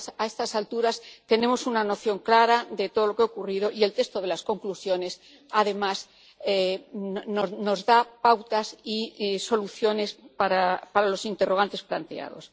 A estas alturas tenemos una noción clara de todo lo que ha ocurrido y el texto de las conclusiones, además, nos da pautas y soluciones para los interrogantes planteados.